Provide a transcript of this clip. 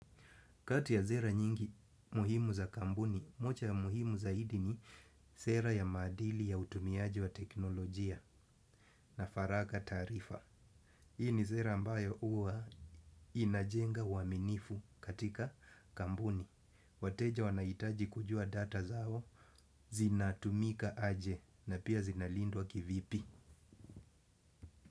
Kati ya sera nyingi muhimu za kampuni, moja ya muhimu zaidi ni sera ya maadili ya utumiaji wa teknolojia na faraka taarifa. Hii ni sera ambayo huwa inajenga uaminifu katika kampuni. Wateja wanahitaji kujua data zao, zinatumika aje na pia zinalindwa kivipi.